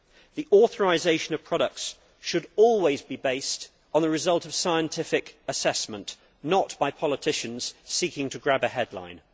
The authorisation of products should always be based on the result of scientific assessment, not by politicians seeking to grab a headline.